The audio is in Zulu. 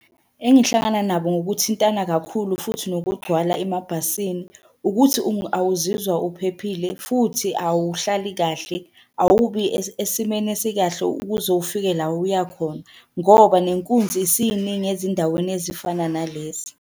Engihlangana nabo ngokuthintana kakhulu futhi nokugcwala emabhasini, ukuthi awuzizwa uphephile futhi awuhlali kahle. Awubi esimeni esikahle ukuze ufike la uya khona, ngoba nenkunzi isiningi ezindaweni ezifana nalezi.